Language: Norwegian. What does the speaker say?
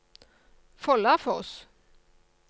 Follafoss